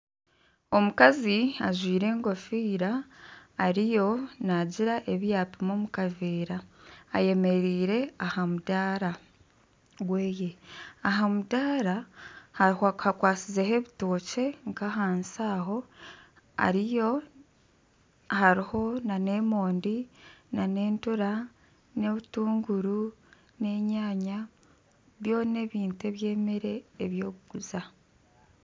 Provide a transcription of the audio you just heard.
Omukazi ajwaire enkofiira ariyo naagira ebi yapima omu kaveera ayemereire aha mudaara gwe Aha mudaara hakwasizeho ebitookye nkahansi aho hariyo nana emonde n'entura, n'obutunguru n'enyanya byona ebintu ebyemere ebyokuguza